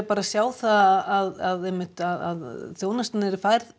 sjá það að að þjónustan yrði færð